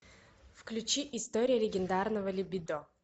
включи история легендарного либидо